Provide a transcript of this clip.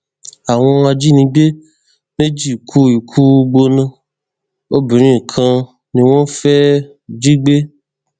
àwọn ajínigbé méjì kú ìkùúgbóná obìnrin kan ni wọn fẹẹ jí gbé